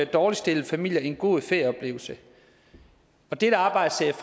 dårligt stillede familier en god ferieoplevelse dette arbejde ser